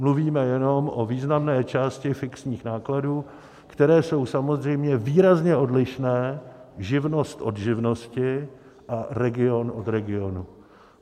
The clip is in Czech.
Mluvíme jenom o významné části fixních nákladů, které jsou samozřejmě výrazně odlišné, živnost od živnosti a region od regionu.